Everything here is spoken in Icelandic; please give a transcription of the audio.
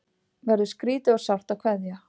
Verður skrýtið og sárt að kveðja